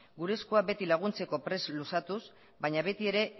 gure eskuak beti laguntzeko prest luzatuz baina betiere